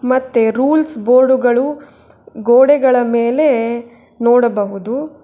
ಮತ್ತೆ ರೂಲ್ಸ್ ಬೋರ್ಡುಗಳು ಗೋಡೆಗಳ ಮೇಲೆ ನೋಡಬಹುದು.